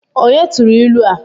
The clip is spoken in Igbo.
Onye turu ilu a?